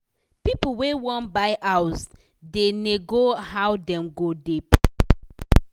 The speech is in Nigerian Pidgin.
pipu wey wan buy house da nego how dem go da pay